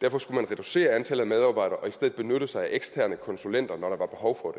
derfor skulle man reducere antallet af medarbejdere og i stedet benytte sig af eksterne konsulenter når der var behov for